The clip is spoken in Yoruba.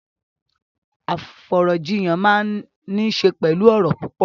Afọ̀rọ̀jíyàn máa n ni ṣe pẹlú ọrọ̀ púpọ̀.